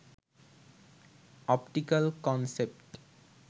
optical concept